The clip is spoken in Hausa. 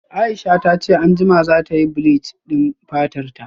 Aisha tace anjima zatayi bleach din fatarta